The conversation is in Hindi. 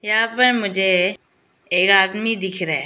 यहां पर मुझे ये आदमी दिख रहा है।